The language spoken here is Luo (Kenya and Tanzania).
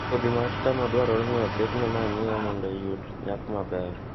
Kodhi mar cham dwarore ni oketne manyiwa mondo oyud nyak maber